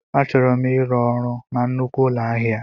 Achọrọ m ịrụ ọrụ na nnukwu ụlọ ahịa.